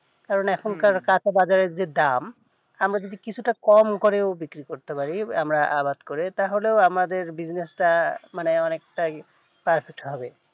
কারণ এখন কার কাঁচা বাজারের যে দাম আমরা যদি কিছুটা ও কম করে বিক্রি করতে পারি আমরা আবাদ করে তাহলে ও আমাদের business টা মানে অনেকটাই perfect হবে